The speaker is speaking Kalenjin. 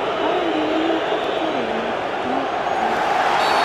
awendi emet ak choronok chuk